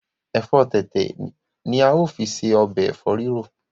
efo tètè ni ao fi se Ọbẹ̀ efo rirọ.